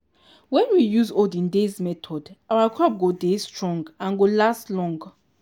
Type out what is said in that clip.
wen we use olden days method our crop go dey strong and go last long.